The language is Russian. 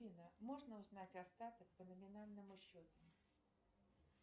афина можно узнать остаток по номинальному счету